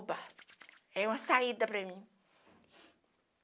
Oba, é uma saída para mim.